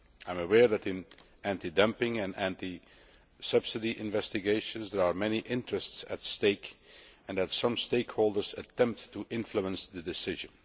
I am aware that, in anti dumping and anti subsidy investigations, there are many interests at stake and that some stakeholders attempt to influence the decision.